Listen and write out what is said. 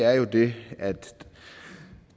er jo det at